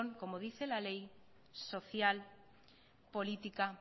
como dice la ley social política